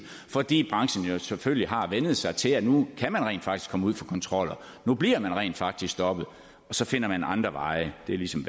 fordi branchen jo selvfølgelig har vænnet sig til at man nu rent faktisk kan komme ud for kontroller nu bliver man rent faktisk stoppet og så finder man andre veje det er ligesom